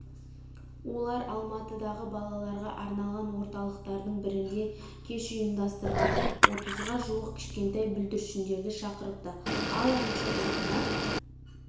олар алматыдағы балаларға арналған орталықтардың бірінде кеш ұйымдастырған отызға жуық кішкентай бүлдіршіндерді шақырыпты ал әнші ұлына